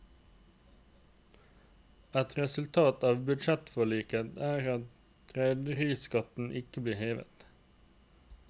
Et resultat av budsjettforliket er at rederiskatten ikke blir hevet.